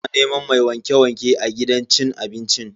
Suna neman mai wanke-wanke a gidan cin abincin.